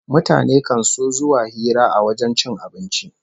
Mutane kan so zuwa hira a wajen cin abinci